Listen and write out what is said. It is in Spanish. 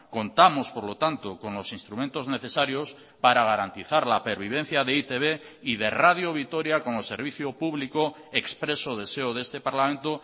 contamos por lo tanto con los instrumentos necesarios para garantizar la pervivencia de e i te be y de radio vitoria como servicio público expreso deseo de este parlamento